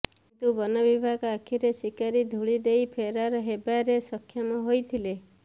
କିନ୍ତୁ ବନ ବିଭାଗ ଆଖିରେ ଶିକାରୀ ଧୂଳି ଦେଇ ଫେରାର ହେବାରେ ସକ୍ଷମ ହୋଇଥିଲେ